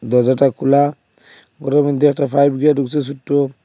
দরজাটা খোলা ঘরের মধ্যে একটা পাইপ গিয়া ঢুকছে সোট্ট ।